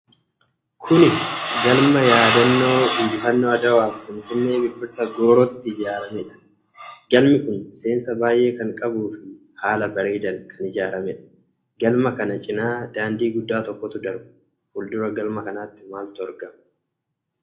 Kun galma yaadannoo injifannoo Adwaaf Finfinnee Birbirsa Goorootti ijaaramedha. Galmi kun seensa baay'ee kan qabuu fi haala bareedaan kan ijaaramedha. Galma kana cinaa daandii guddaa tokkotu darba. Fuuldura galma kanaatti maaltu argama?